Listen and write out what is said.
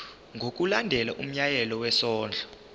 ngokulandela umyalelo wesondlo